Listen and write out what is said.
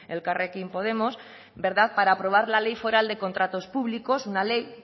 elkarrekin podemos para aprobar la ley foral de contratos públicos una ley